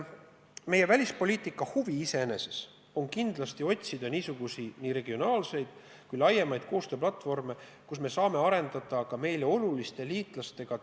Meie välispoliitika huvides on kindlasti otsida nii regionaalseid kui laiemaid koostööplatvorme, kus me saame arendada dialoogi meile oluliste liitlastega.